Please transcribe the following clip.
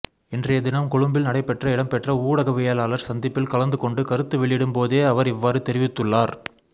இன்றையதினம் கொழும்பில் நடைபெற்ற இடம்பெற்ற ஊடகவியலாளர் சந்திப்பில் கலந்துகொண்டு கருத்து வெளியிடும் போதே அவர் இவ்வாறு தெரிவித்துள்ளார்